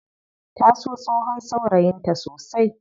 Ta so tsohon saurayin ta sosai.